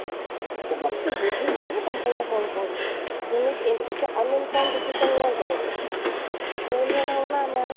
so that ତୁ ବୁଝିବୁ ନା company ଟା କ'ଣ କରୁଛି, ଏମିତି ଏତେ uninformed decision ନିଅନ୍ତିନି ଚିକୁ, school ରେ ନାହୁଁ ନା ଆମେ,